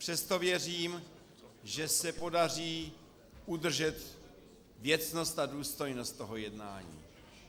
Přesto věřím, že se podaří udržet věcnost a důstojnost tohoto jednání.